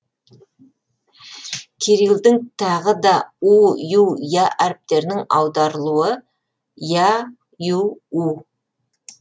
кирилдің тағы да у ю я әріптерінің аударылуы я ю у